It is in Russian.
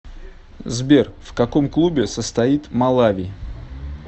сбер в каком клубе состоит малави